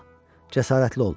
Cəsarətli ol.